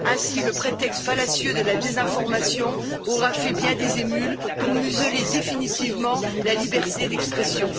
Ainsi, le prétexte fallacieux de la désinformation aura fait bien des émules pour museler définitivement la liberté d'expression.